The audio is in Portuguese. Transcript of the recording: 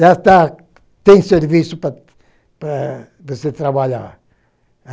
Já está tem serviço para para você trabalhar.